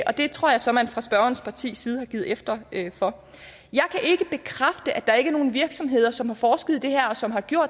det tror jeg så man fra spørgerens partis side har givet efter for jeg kan ikke bekræfte at der ikke er nogen virksomheder som har forsket i det her og som har